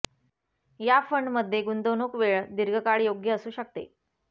या फंड मध्ये गुंतवणूक वेळ दीर्घकाळ योग्य असू शकते